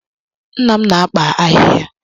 Nna m na-akpa ahịhịa.